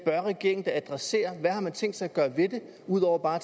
regeringen da adressere hvad har man tænkt sig at gøre ved det ud over bare